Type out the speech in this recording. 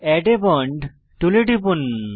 add a bond টুলে টিপুন